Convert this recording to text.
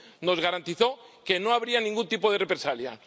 Nos garantizó que no habría ningún tipo de represalia.